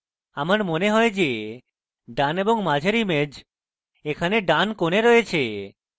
আমার মনে হয় যে ডান এবং মাঝের image এখানে ডান corner রয়েছে